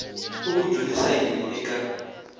u ku dyondzisa yini eka